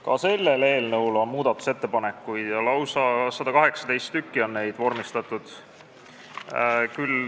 Ka selle eelnõu kohta on esitatud muudatusettepanekuid, lausa 118 on neid vormistatud.